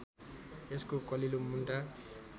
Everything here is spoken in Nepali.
यसको कलिलो मुन्टा